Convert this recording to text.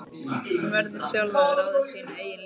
Hún verður sjálf að ráða sínu eigin lífi.